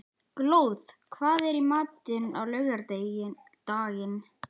Glóð, hvað er í matinn á laugardaginn?